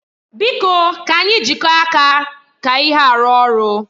Biko ka anyị jikọọ aka ka ihe a rụọ ọrụ.